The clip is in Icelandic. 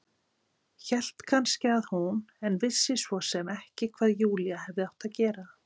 Hélt kannski að hún- en vissi svo sem ekki hvað Júlía hefði átt að gera.